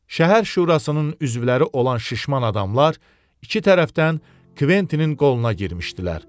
Şəhər şurasının üzvləri olan şişman adamlar iki tərəfdən Kventinin qoluna girmişdilər.